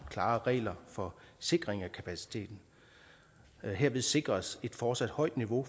klare regler for sikring af kapaciteten herved sikres et fortsat højt niveau